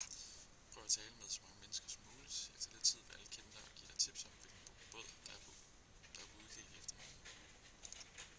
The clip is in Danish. prøv at tale med så mange mennesker som muligt efter lidt tid vil alle kende dig og give dig tips om hvilken båd der er på udkig efter nogen